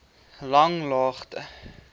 langlaagte